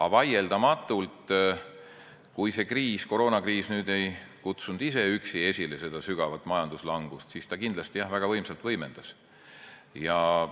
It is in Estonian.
Aga vaieldamatult, kui koroonakriis ise üksi ka ei kutsunud esile seda sügavat majanduslangust, siis ta kindlasti väga võimsalt võimendas seda.